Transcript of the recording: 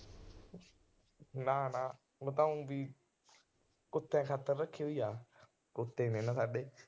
ਨਾ ਨਾ, ਓ ਤਾਂ ਓ ਵੀ ਕੁੱਤੇ ਖਾਤਰ ਰੱਖੀ ਹੋਈ ਆ। ਕੁੱਤੇ ਨੇ ਨਾ ਸਾਡੇ।